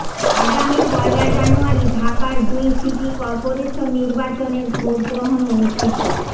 আগামী পয়লা জানুয়ারি ঢাকার দুই সিটি করপোরেশন নির্বাচনের ভোটগ্রহণ অনুষ্ঠিত